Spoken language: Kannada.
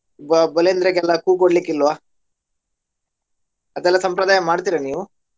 ಕೊಡ್ಲಿಕಿಲ್ವ? ಅದೆಲ್ಲಾ ಸಂಪ್ರದಾಯ ಮಾಡ್ತಿರಾ ನೀವು?